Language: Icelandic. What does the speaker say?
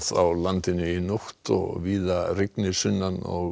á landinu í nótt og víða mun rigna sunnan og